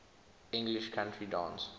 english country dance